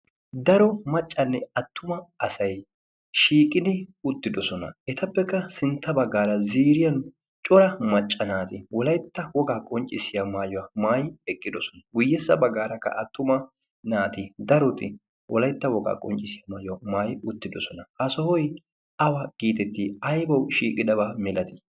Daro maccanne attuma asay shiiqidi uttidoosona. Etappekka sintta baggaara ziiriyan cora macca naati Wolaytta woga qonccissiya maayyuwa maayyidi eqqidoosona. Guyyessa baggaarakka attuma naati daroti Wolaytta woga qonccissiyaa maayuwa maayyidi uttidosona. Ha sohoy awaa getettii? aybawu shiiqidaba milatii?